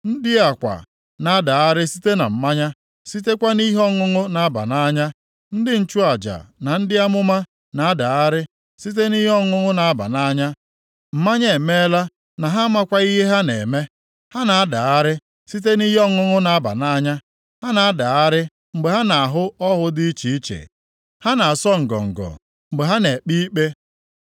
Ndị a kwa na-adagharị site na mmanya sitekwa nʼihe ọṅụṅụ na-aba nʼanya. Ndị nchụaja na ndị amụma na-adagharị site na ihe ọṅụṅụ na-aba nʼanya, mmanya emeela na ha amakwaghị ihe ha na-eme; ha na-adagharị site nʼihe ọṅụṅụ na-aba nʼanya ha na-adagharị mgbe ha na-ahụ ọhụ dị iche iche, ha na-asọ ngọngọ mgbe ha nʼekpe ikpe.